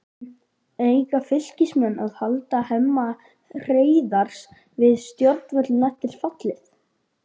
Eiga Fylkismenn að halda Hemma Hreiðars við stjórnvölinn eftir fallið?